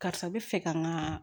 Karisa bɛ fɛ ka n ga